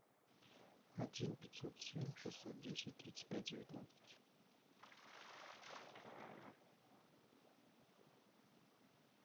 один пятьсот семь шестьсот десять тридцать пять девятнадцать